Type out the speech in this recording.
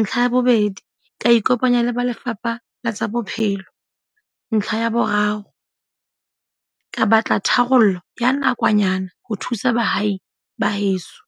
Ntlha ya bobedi, ka ikopanya le ba Lefapha la tsa Bophelo. Ntlha ya boraro, ka batla tharollo ya nakwanyana ho thusa bahai ba heso.